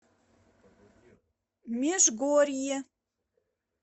межгорье